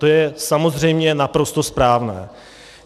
To je samozřejmě naprosto správné.